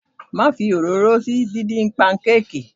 Má fi òróró sí díndín panukeeki.